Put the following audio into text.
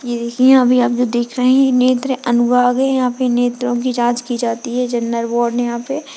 ये देखिये यहाँ अभी आप लोग देख रहें है नेत्र अनुभाग है यहाँ पर नेत्रों की जाँच की जाती है जनरल वॉड है यहाँ पे।